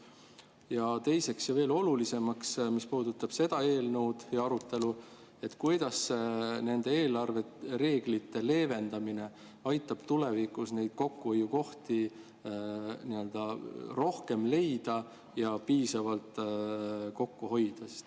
Ja teiseks ja veel olulisemaks, mis puudutab seda eelnõu ja arutelu: kuidas nende eelarvereeglite leevendamine aitab tulevikus neid kokkuhoiukohti rohkem leida ja piisavalt kokku hoida?